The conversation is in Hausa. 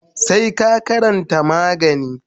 sai ka karanta magani.